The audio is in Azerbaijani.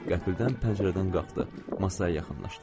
Qəfildən pəncərədən qalxdı, masaya yaxınlaşdı.